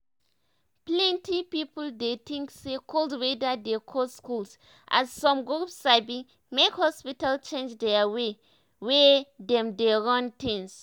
plenty people dey tink say cold weather dey cause colds as some group sabi make hospitals change their way wey dem dey run things.